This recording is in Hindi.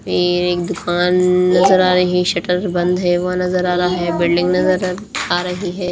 ये एक दुकान नजर आ रही है शटर बंद है वो नजर आ रहा है बिल्डिंग नजर आ रही है।